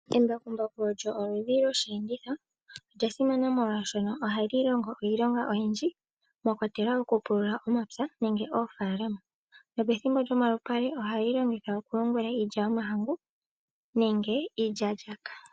Embakumbaku olyo oludhi lwosheenditho, olya simana molwaashono ohali longo iilonga oyindji mwa kwatelwa oku pulula omapya nenge oofaalama. Nopethimbo lyomalupale ohali longithwa oku yungula iilya yomahangu nenge iilyaalyaka.